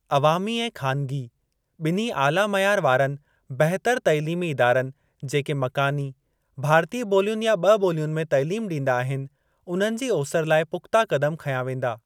अवामी ऐं ख़ानगी ॿिन्ही आला-मयार वारनि बहितर तइलीमी इदारनि जेके मकानी, भारतीय ॿोलियुनि या ॿ ॿोलियुनि में तइलीम ॾींदा आहिनि, उन्हनि जी ओसरि लाइ पु‍ख़्ता क़दम खंया वेंदा।